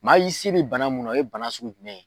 Maa i se bɛ bana mun na o ye bana sugu jumɛn ye?